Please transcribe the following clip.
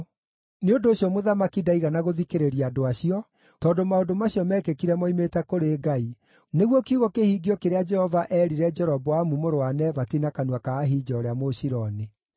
Nĩ ũndũ ũcio mũthamaki ndaigana gũthikĩrĩria andũ acio, tondũ maũndũ macio meekĩkire moimĩte kũrĩ Ngai, nĩguo kiugo kĩhingio kĩrĩa Jehova eerire Jeroboamu mũrũ wa Nebati na kanua ka Ahija ũrĩa Mũshiloni.